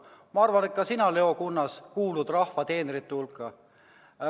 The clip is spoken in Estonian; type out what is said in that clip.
Ma arvan, et ka sina, Leo Kunnas, kuulud rahva teenrite hulka.